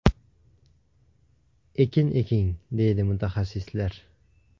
Ekin eking!”, deydi mutaxassislar.